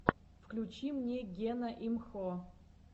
включи мне гена имхо